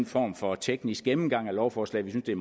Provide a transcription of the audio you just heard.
form for teknisk gennemgang af lovforslaget vi